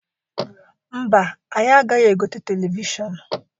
Mba, anyi agaghị egote televishọnụ.